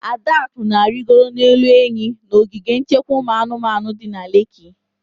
Adaku na-arigoro n'elu enyi n'ogige nchekwa ụmụ anụmanụ di na Leki